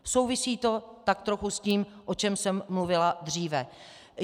Souvisí to tak trochu s tím, o čem jsem mluvila dříve.